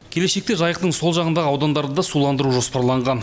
келешекте жайықтың сол жағындағы аудандарды да суландыру жоспарланған